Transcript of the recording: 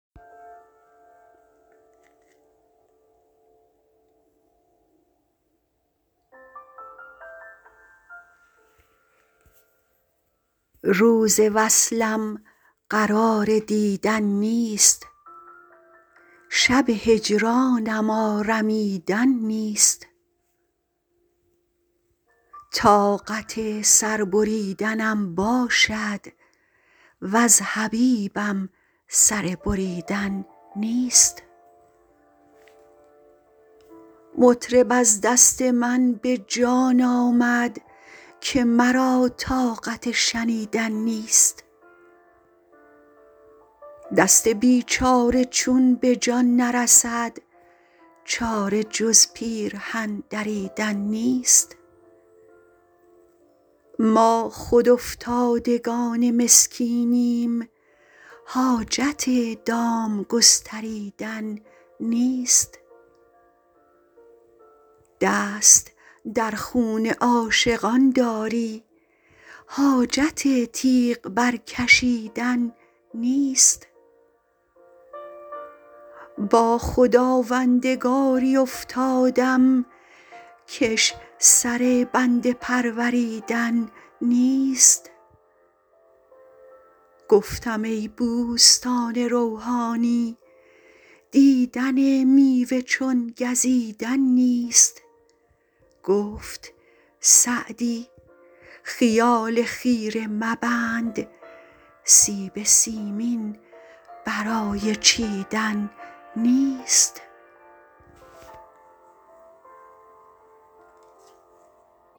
روز وصلم قرار دیدن نیست شب هجرانم آرمیدن نیست طاقت سر بریدنم باشد وز حبیبم سر بریدن نیست مطرب از دست من به جان آمد که مرا طاقت شنیدن نیست دست بیچاره چون به جان نرسد چاره جز پیرهن دریدن نیست ما خود افتادگان مسکینیم حاجت دام گستریدن نیست دست در خون عاشقان داری حاجت تیغ برکشیدن نیست با خداوندگاری افتادم کش سر بنده پروریدن نیست گفتم ای بوستان روحانی دیدن میوه چون گزیدن نیست گفت سعدی خیال خیره مبند سیب سیمین برای چیدن نیست